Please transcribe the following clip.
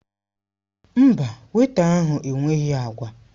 Mba, wéita ahụ enweghị agwa.